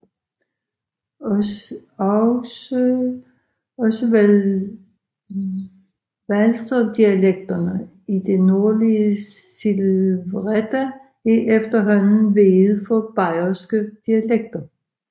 Også walserdialekterne i det nordlige Silvretta er efterhånden veget for bayerske dialekter